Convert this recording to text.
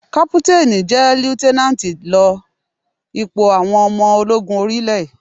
Kápútánì ju líútẹ́nánátì lọ ní ipò àwọn ọmọ ológun orí ilé.